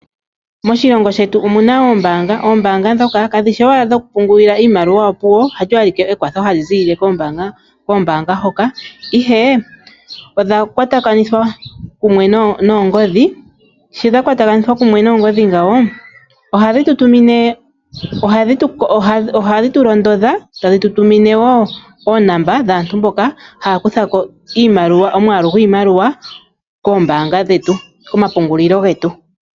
Moshilongo shetu omuna oombaanga ihe kadhishi owala dhokupungulila iimaliwa opuwo halyo ashike ekwatho hali ziilile kombaanga hoka ihe odha kwatakanithwa kumwe noongodhi sho dha keatakanithwa kumwe noongodhi ngawo ohadhi tu londodha tadhi tu tumine woo oonumber dhaantu mboka haya kutha ko oomwaalu gwiimaliwa koombanga dhetu ano komapungulilo getu.